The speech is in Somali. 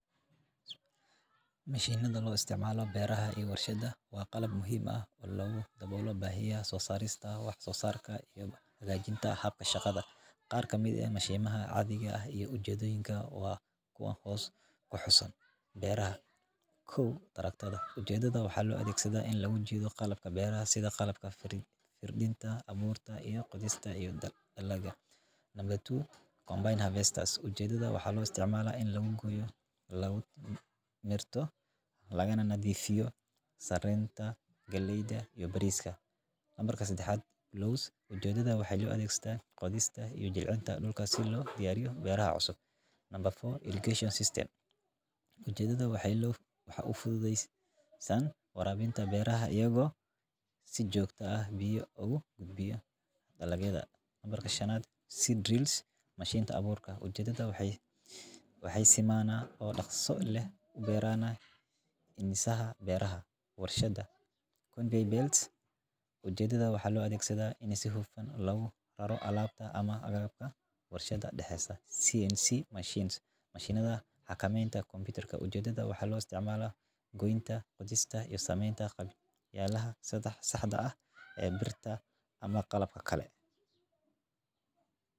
Mishinada loo isticmaalo beeraha iyo warshadaha waa qalab muhiim ah oo lagu daboolo bahiyada wax soo saarka iyo hagaajinta habka shaqada, qaar kamid ah mishinada caadiga ah iyo ujedoyinka oo xusan, beeraha kow tarctada, ujeedada waxaa loo adeegsadaa in lagu jiido qalabka beeraha sida qalabka fardinta, abuurka iyo beerista, combine harvesters ujeedada waa in lagu gooyo lagana nadiifiya sareenta galeyda iyo badbaadada, ujeedada waxaa loo adegsadaa qodista iyo jilcinta dulka si loo diyaariyo beeraha cusub, irrigation system ujeedada waa in wax ufududesan warabinta biyaha ayago si joogta ah ugu gudbiya dalagyada, mashinta abuurka, ujeedada waxeey simana oo daqso leh himisaha beeraha, ujeedada waxaa loo adeegsadaa in si hufan loo daro alaabta warshada dexdiisa, mashinada xakameenta kombitarka, ujeedada waxaa loo adeegsadaa goynta iyo sameenta qalabyaha saxda ah ee birta.